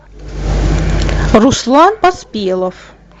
руслан поспелов